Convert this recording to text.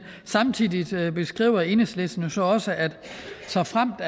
samtidig beskriver enhedslisten jo så også at såfremt